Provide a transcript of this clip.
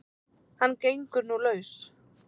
Hann gengur nú laus